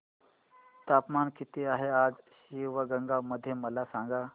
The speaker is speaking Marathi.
तापमान किती आहे आज शिवगंगा मध्ये मला सांगा